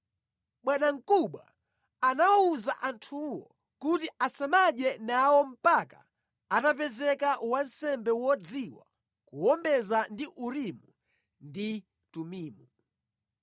Bwanamkubwa anawawuza anthuwo kuti asamadye nawo mpaka atapezeka wansembe wodziwa kuwombeza ndi Urimu ndi Tumimu.